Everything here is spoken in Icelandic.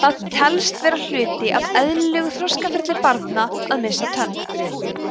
það telst vera hluti af eðlilegu þroskaferli barna að missa tönn